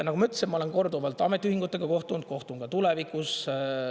Nagu ma ütlesin, ma olen korduvalt ametiühingutega kohtunud, kohtun ka tulevikus.